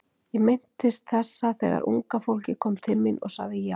Ég minntist þessa þegar unga fólkið kom til mín og ég sagði já.